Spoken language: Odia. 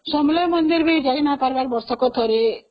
ସମଳେଇ ମନ୍ଦିର ବି ଯାଇହେଉନାହି ବର୍ଷକୁ ଥରେ